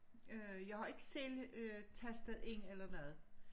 Øh jeg har ikke selv øh tastet ind eller noget